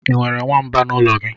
I nwere nwamba n'ụlọ gị?